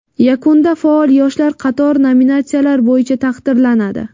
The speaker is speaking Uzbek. Yakunda faol yoshlar qator nominatsiyalar bo‘yicha taqdirlanadi.